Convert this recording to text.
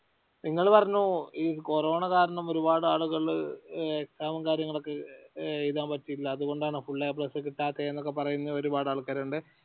നിങ്ങള് പറഞ്ഞു ഈ കൊറോണ കാരണം ഒരുപാട് ആളുകള്‍ exam കാര്യങ്ങളൊക്കെ എഴുതാൻ പറ്റിയില്ല അതുകൊണ്ടാ full A ഒക്കെ കിട്ടാത്ത എന്നൊക്കെ പറയുന്ന ഒരുപാട് ആൾക്കാരുണ്ട്